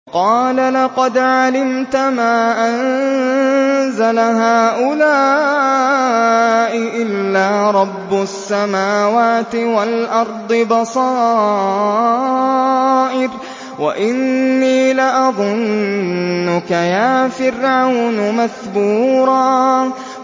قَالَ لَقَدْ عَلِمْتَ مَا أَنزَلَ هَٰؤُلَاءِ إِلَّا رَبُّ السَّمَاوَاتِ وَالْأَرْضِ بَصَائِرَ وَإِنِّي لَأَظُنُّكَ يَا فِرْعَوْنُ مَثْبُورًا